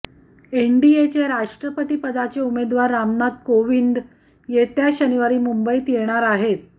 एनडीएचे राष्ट्रपतीपदाचे उमेदवार रामनाथ कोविंद येत्या शनिवारी मुंबईत येणार आहेत